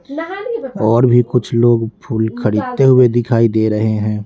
और भी कुछ लोग फूल खरीदते हुए दिखाई दे रहे हैं।